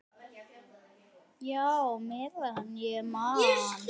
Já, meðan ég man.